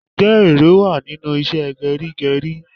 Ǹjẹ́ ère wá nínú ìṣe geri geri?